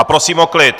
A prosím o klid.